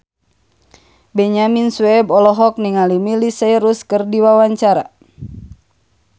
Benyamin Sueb olohok ningali Miley Cyrus keur diwawancara